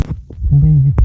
боевик